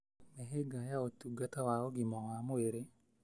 Mĩhĩnga ya ũtungata wa ũgima wa mwĩrĩ